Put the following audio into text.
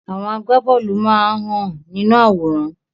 Àwọn agbá bóòlù máa hàn nínú àwòrán.